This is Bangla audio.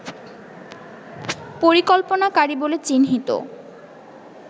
পরিকল্পনাকারী বলে চিহ্নিত